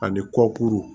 Ani kɔkuru